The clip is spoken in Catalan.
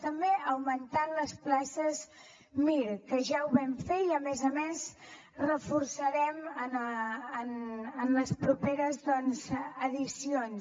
també augmentant les places mir que ja ho vam fer i a més a més ho reforçarem doncs en les properes edicions